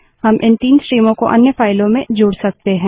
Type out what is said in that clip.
हम इन 3 स्ट्रीमों को अन्य फाइलों से जोड़ सकते हैं